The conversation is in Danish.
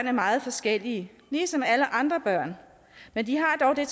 er meget forskellige ligesom alle andre børn men de har dog det